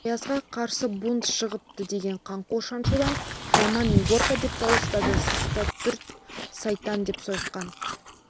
оязға қарсы бунт шығыпты деген қаңқу шаншудан жаман егорка деп дауыстады сыртта түрт сайтан деп сойқан